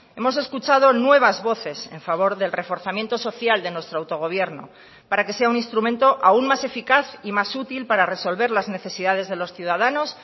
hemos escuchado nuevas voces en favor del reforzamiento social de nuestro autogobierno para que sea un instrumento aún más eficaz y más útil para resolver las necesidades de los ciudadanos